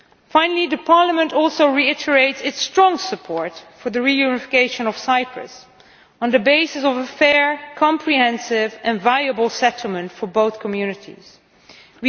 Finally, Parliament also reiterates its strong support for the reunification of Cyprus on the basis of a fair, comprehensive and viable settlement for both communities there.